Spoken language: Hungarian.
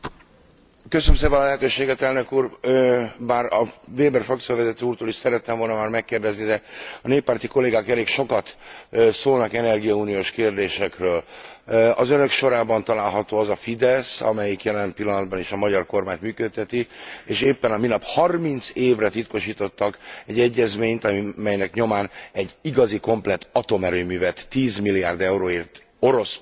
Már a Weber frakcióvezető úrtól is szerettem volna megkérdezni, de a néppárti kollégák elég sokat szólnak energiauniós kérdésekről. Az Önök sorában található az a Fidesz, amelyik jelen pillanatban is a magyar kormányt működteti, és éppen a minap 30 évre titkosítottak egy egyezményt, melynek nyomán egy igazi, komplett atomerőművet 10 milliárd euróért orosz pénzből építenek, orosz technológiával Magyarországon.